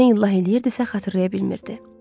ancaq nə illah eləyirdisə xatırlaya bilmirdi.